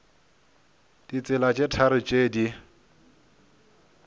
ditsela tše tharo tše di